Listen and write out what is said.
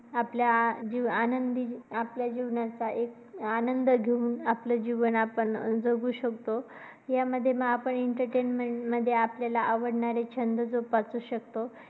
आपल्या अं जी आपल्या आनंदी जीवनाचा एक आनंद घेऊन आपले जीवन आपण जगू शकतो. यामध्ये आपण entertain मध्ये आपण आपल्याला आवडणारे छंद जोपासू शकतो.